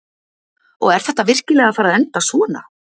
Og er þetta virkilega að fara að enda svona?